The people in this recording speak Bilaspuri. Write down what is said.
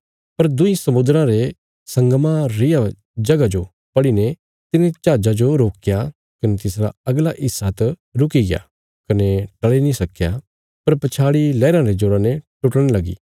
पर दुईं समुद्राँ रे संगमा रिया जगह जो पढ़ीने तिने जहाजा जो रोकया कने तिसरा अगला हिस्सा त रुकिग्या कने टल़ी नीं सक्की पर पछाड़ी लैहराँ रे जोरा ते टुटणे लगी